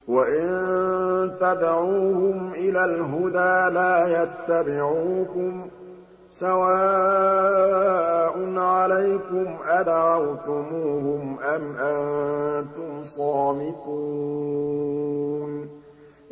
وَإِن تَدْعُوهُمْ إِلَى الْهُدَىٰ لَا يَتَّبِعُوكُمْ ۚ سَوَاءٌ عَلَيْكُمْ أَدَعَوْتُمُوهُمْ أَمْ أَنتُمْ صَامِتُونَ